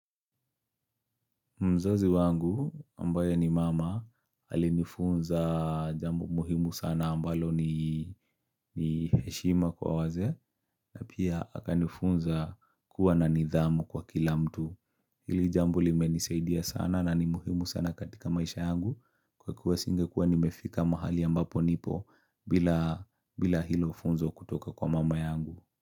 Mzazi wangu ambaye ni mama alinifunza jambo muhimu sana ambalo ni heshima kwa wazee na pia akanifunza kuwa na nidhamu kwa kila mtu. Hili jambo limenisaidia sana na ni muhimu sana katika maisha yangu kwa kuwa singekuwa nimefika mahali ambapo nipo bila hilo funzo kutoka kwa mama yangu.